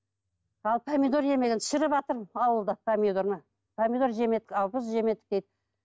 ал помидор жемеген шіріватыр ауылда помидорды помидор жемедік қарбыз жемедік дейді